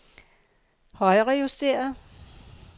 højrejusteret